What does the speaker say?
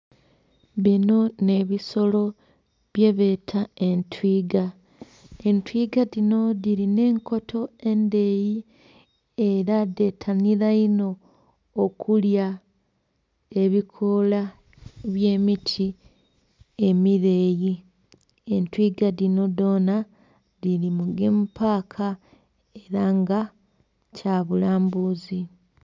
Bino n'ebisolo byebeta entwiga, entwiga dhino dhirina enkoto endheyi era dhetanira inho okulya ebikoola eby'emiti emireyi. Entwiga dhino dhona dhiri mugemu paaka era nga kya bulambuzi.